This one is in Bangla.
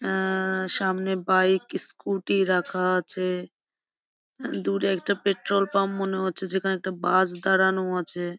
আ-আ সামনে বাইক স্ক্যুটি রাখা আছে | দূরে একটা পেট্রল পাম্প মনে হচ্ছে যেখানে একটা বাস দাঁড়ানো আছে ।